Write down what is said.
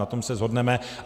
Na tom se shodneme.